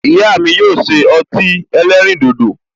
Ìyá mi yóò ṣe ọtí ẹlẹ́rìndòdò